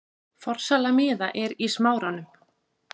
Forsala miða er í Smáranum.